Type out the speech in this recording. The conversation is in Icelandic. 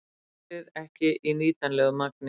Gasið ekki í nýtanlegu magni